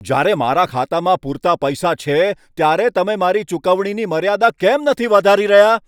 જ્યારે મારા ખાતામાં પૂરતા પૈસા છે ત્યારે તમે મારી ચૂકવણીની મર્યાદા કેમ નથી વધારી રહ્યા?